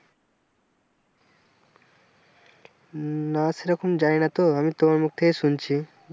না সেরকম জানি না তো আমি তোমার মুখ থেকে শুনছি।